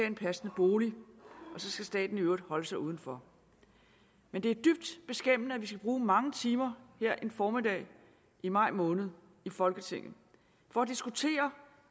en passende bolig og så skal staten i øvrigt holde sig uden for men det er dybt beskæmmende at vi skal bruge mange timer her en formiddag i maj måned i folketinget på at diskutere